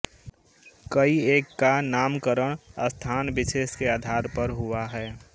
कई एक का नामकरण स्थानविशेष के आधार पर हुआ है